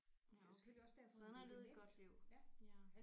Ja okay så han har levet et godt liv ja